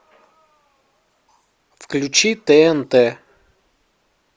включи тнт